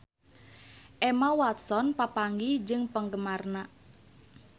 Emma Watson papanggih jeung penggemarna